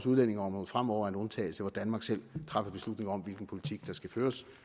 udlændingeområdet fremover en undtagelse hvor danmark selv træffer beslutning om hvilken politik der skal føres